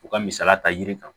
U ka misali ta yiri kan